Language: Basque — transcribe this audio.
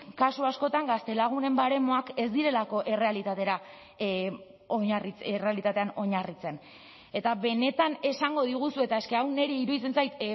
kasu askotan gaztelagunen baremoak ez direlako errealitatean oinarritzen eta benetan esango diguzue es que hau niri iruditzen zait